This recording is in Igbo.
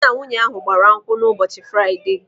Dị na nwunye ahụ gbara nkwụ na ụbọchị Fraịde.